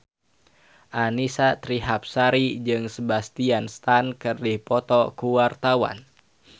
Annisa Trihapsari jeung Sebastian Stan keur dipoto ku wartawan